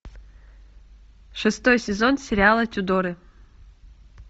шестой сезон сериала тюдоры